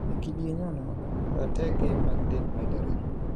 e kidieny onogo, ratege mag del medore.